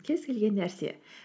кез келген нәрсе